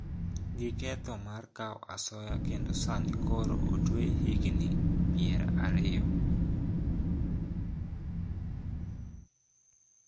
Gi ketho mar kawo asoya kendo sani koro otweye higni pier ariyo